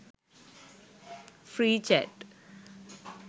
free chat